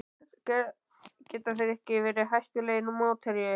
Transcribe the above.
Geta þeir ekki verið hættulegur mótherji?